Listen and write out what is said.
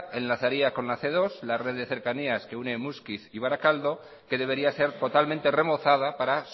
enlazaría con la ce dos la red de cercanías que une muskiz y barakaldo que debería ser totalmente remozada para